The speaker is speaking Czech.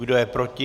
Kdo je proti?